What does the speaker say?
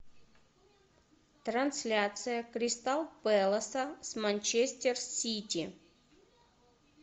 трансляция кристал пэласа с манчестер сити